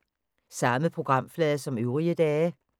Samme programflade som øvrige dage